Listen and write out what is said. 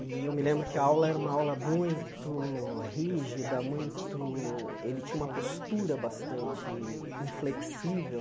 E eu me lembro que a aula era uma aula muito rígida, muito ele tinha uma postura bastante inflexível.